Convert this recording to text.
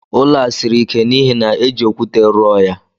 Ụlọ a siri ike n'ihi na éjị okwute rụọ ya